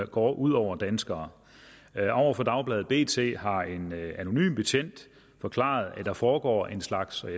går ud over danskere over for dagbladet bt har en anonym betjent forklaret at der foregår en slags